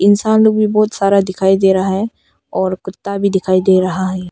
इंसान लोग भी बहुत सारा दिखाई दे रहा है और कुत्ता भी दिखाई दे रहा है।